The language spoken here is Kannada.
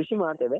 ಕೃಷಿ ಮಾಡ್ತೇವೆ.